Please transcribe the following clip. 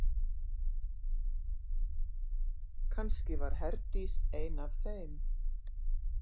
Kannski var Herdís ein af þeim.